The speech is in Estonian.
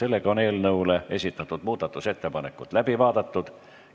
Eelnõu kohta esitatud muudatusettepanekud on läbi vaadatud.